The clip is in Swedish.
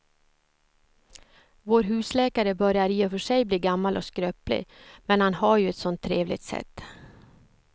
Vår husläkare börjar i och för sig bli gammal och skröplig, men han har ju ett sådant trevligt sätt!